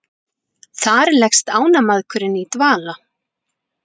þar leggst ánamaðkurinn í dvala